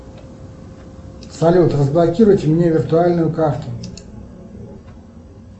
салют разблокируйте мне виртуальную карту